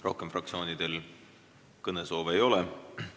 Rohkem fraktsioonidel kõnesoove ei ole.